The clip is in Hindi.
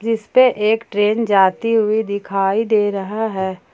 इस पे एक ट्रेन जाती हुई दिखाई दे रहा है।